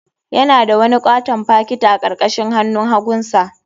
Yana da wani katon fakiti a karkashin hannun hagunsa.